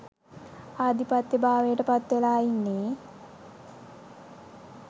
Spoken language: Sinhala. ආධිපත්‍යභාවයට පත්වෙලා ඉන්නේ.